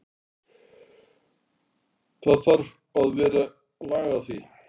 Það þarf að vera lag á því.